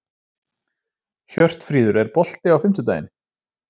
Hjörtfríður, er bolti á fimmtudaginn?